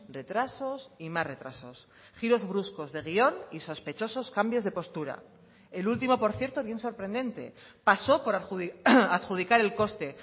retrasos y más retrasos giros bruscos de guión y sospechosos cambios de postura el último por cierto bien sorprendente pasó por adjudicar el coste